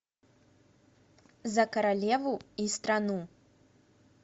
за королеву и страну